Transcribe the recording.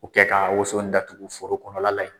U kɛ ka woso in datugu foro kɔnɔla la yen.